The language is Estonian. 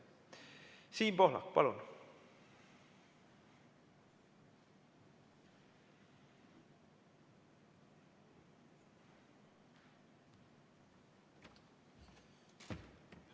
Siim Pohlak, palun!